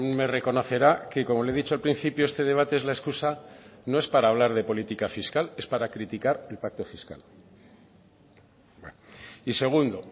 me reconocerá que como le he dicho al principio este debate es la excusa no es para hablar de política fiscal es para criticar el pacto fiscal y segundo